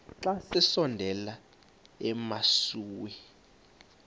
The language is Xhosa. xa besondela emasuie